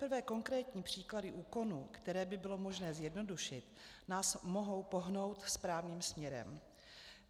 Teprve konkrétní příklady úkonů, které by bylo možné zjednodušit, nás mohou pohnout správným směrem.